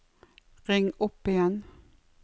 ring opp igjen